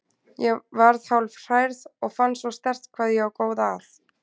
Ég varð hálf hrærð og fann svo sterkt hvað ég á góða að.